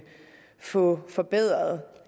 få forbedret